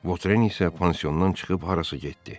Votren isə pansiondan çıxıb harasa getdi.